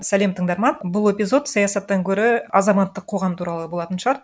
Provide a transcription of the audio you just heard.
сәлем тыңдарман бұл эпизод саясаттан гөрі азаматтық қоғам туралы болатын шығар